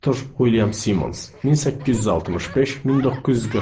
Arthur William Simmons 1865-1945.